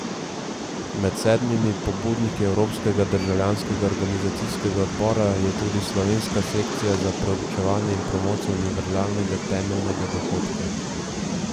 Med sedmimi pobudniki evropskega državljanskega organizacijskega odbora je tudi slovenska sekcija za preučevanje in promocijo univerzalnega temeljnega dohodka.